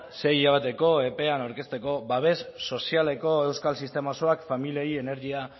sei hilabeteko epean aurkezteko babes sozialeko euskal sistema osoak familiei energia